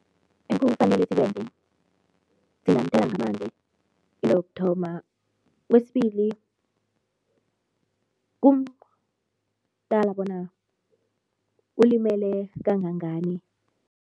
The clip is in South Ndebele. Ekufanele sisekwenze singamthela ngamanzi, into yokuthoma. Kwesibili, kumqala bona ulimele kangangani.